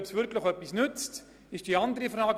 Ob sie wirklich etwas nützt, ist die andere Frage.